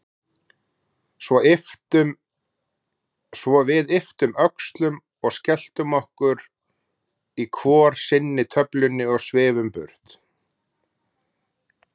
Svo við ypptum öxlum og skelltum í okkur hvor sinni töflunni og svifum burt.